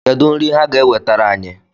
Kedu nri ha ga-ewetara anyị?